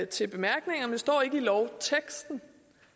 til bemærkningerne står ikke i lovteksten